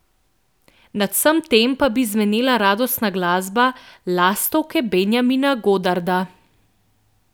Nad vsem tem pa bi zvenela radostna glasba, Lastovke Benjamina Godarda.